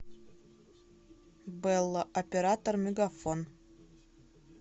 белла оператор мегафон